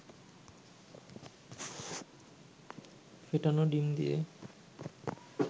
ফেটানো ডিম দিয়ে